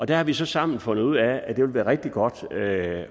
der har vi så sammen fundet ud af at det vil være rigtig godt at